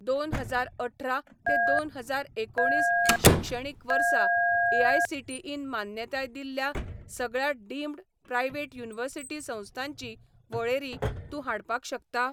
दोन हजार अठरा ते दोन हजार एकुणीस शिक्षणीक वर्सा एआयसीटीईन मान्यताय दिल्ल्या सगळ्या डीमड प्रायव्हेट युनिवर्सिटी संस्थांची वळेरी तूं हाडपाक शकता?